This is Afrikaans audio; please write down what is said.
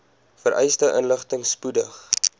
vereiste inligting spoedig